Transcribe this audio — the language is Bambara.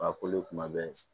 A kolo kuma bɛɛ